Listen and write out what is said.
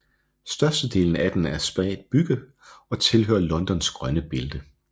Størstedelen af den er spredt bebygget og tilhører Londons grønne bælte